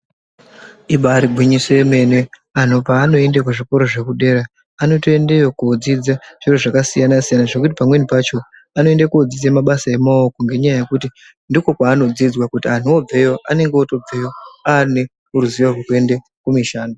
Ibari gwinyiso yemene anhu paanoende kuzvikoro zvekudera anotoendeyo kodzidza zvakasiyana siyana zvokuti pamweni pacho vanoende kundodzidza mabasa emaoko ngenyaya yekuti ndiko kwaanodzidzwa kuti anhu obveyo anonge otobveyo aneruzivo rwekuende kumishando.